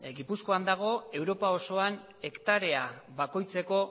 gipuzkoan dago europa osoan hektarea bakoitzeko